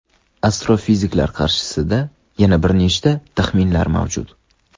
Astrofiziklar qarshisida yana bir necha taxminlar mavjud.